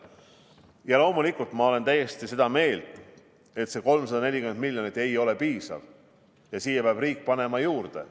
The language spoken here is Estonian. Loomulikult, ma olen täiesti seda meelt, et 340 miljonit ei ole piisav ja siia peab riik juurde panema.